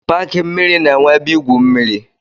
Paki mmiri na-enwe ebe igwu mmiri.